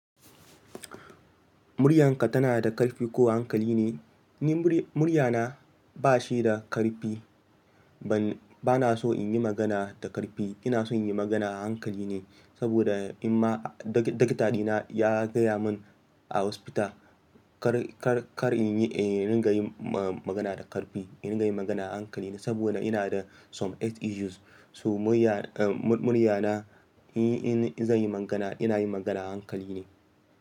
Muryarka tana da ƙarfi ko hankali ne? Ni muryana bashi da ƙarfi. Ban, bana so in yi magana da ƙarfi. Ina son yin magana a hankali ne saboda amma dag, likiya naya gaya mun a asibiti, kar, kar in yi, in rika yin magana da ƙarfi. In rika yin magana a hankali ne saboda ina da some health issues. So muryana in, in, in zanyi magana, inayi magana a hankali ne.